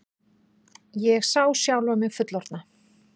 Ég sá sjálfa mig fullorðna.